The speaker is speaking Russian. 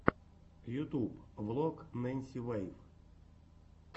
ютуб влог ненси вэйв